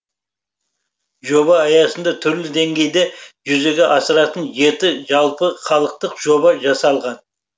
жоба аясында түрлі деңгейде жүзеге асыратын жеті жалпыхалықтық жоба жасалған